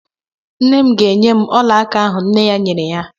Nnem ga-enye m ọla aka ahụ nne ya nyere ya.